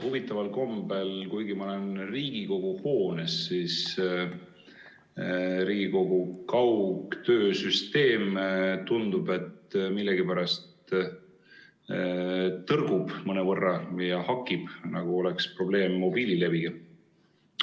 Huvitaval kombel, kuigi ma olen Riigikogu hoones, tundub Riigikogu kaugtöösüsteem millegipärast mõnevõrra tõrkuvat ja hakib, nagu oleks probleeme mobiilileviga.